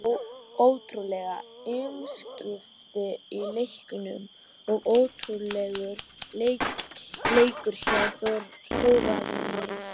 Ótrúleg umskipti í leiknum og ótrúlegur leikur hjá Þórarni.